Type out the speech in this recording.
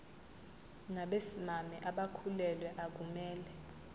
nabesimame abakhulelwe akumele